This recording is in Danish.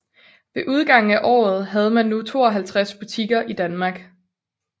Ved udgangen af året havde man nu 52 butikker i Danmark